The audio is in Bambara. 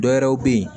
Dɔwɛrɛw bɛ ye